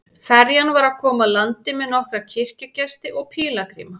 Ferjan var að koma að landi með nokkra kirkjugesti og pílagríma.